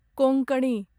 Konkani